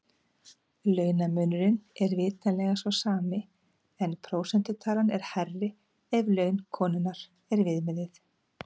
Launamunurinn er vitanlega sá sami en prósentutalan er hærri ef laun konunnar er viðmiðið.